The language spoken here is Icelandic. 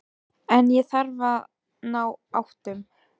Þjóðverjar á Íslandi voru augsýnilega ekki til stórræða fyrir